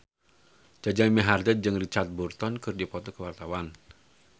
Jaja Mihardja jeung Richard Burton keur dipoto ku wartawan